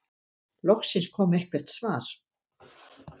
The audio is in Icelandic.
Loksins kom eitthvert svar.